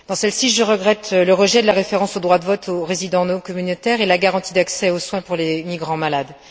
Dans celle ci, je regrette le rejet de la référence au droit de vote des résidents non communautaires et à la garantie d'accès aux soins pour les migrants malades.